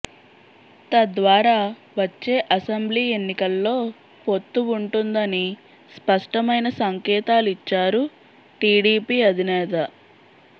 తద్వారా వచ్చే అసెంబ్లీ ఎన్నికల్లో పొత్తు ఉంటుందని స్పష్టమైన సంకేతాలిచ్చారు టీడీపీ అధినేత